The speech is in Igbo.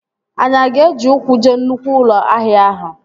Anyị aga eji ụkwụ jee nnụkwụ ụlọ ahịa ahụ?